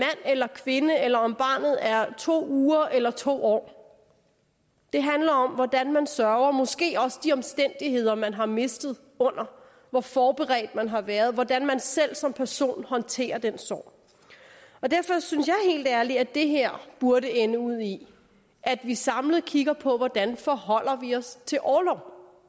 eller kvinde eller om barnet er to uger eller to år det handler om hvordan man sørger måske også de omstændigheder man har mistet under hvor forberedt man har været hvordan man selv som person håndterer den sorg derfor synes jeg helt ærligt at det her burde ende ud i at vi samlet kigger på hvordan vi forholder os til orlov